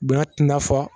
Bonya tɛna fɔ